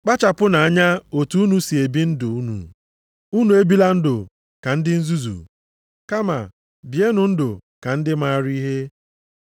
Kpachapụnụ anya otu unu si ebi ndụ unu. Unu ebila ndụ dị ka ndị nzuzu, kama bienụ ndụ dị ka ndị maara ihe.